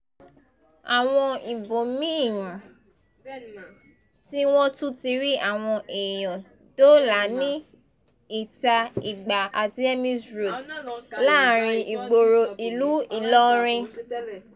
àwọn ibòmí-ín tí wọ́n tún ti rí àwọn èèyàn dóòlà ní íta-igba àti emirs road láàrin ìgboro ìlú ìlọrin